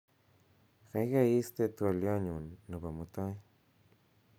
gaigai isten twolyonyun nepo mutai